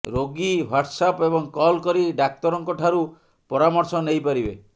ରୋଗୀ ହ୍ୱାଟ୍ସ୍ଆପ୍ ଏବଂ କଲ୍ କରି ଡାକ୍ତରଙ୍କଠାରୁ ପରାମର୍ଶ ନେଇପାରିବେ